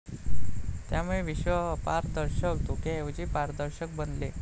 त्यामुळे विश्व अपारदर्शक धुक्याऐवजी पारदर्शक बनले.